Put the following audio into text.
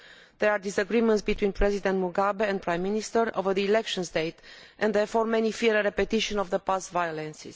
There are disagreements between President Mugabe and the prime minister over the election date, and therefore many fear a repetition of the past violence.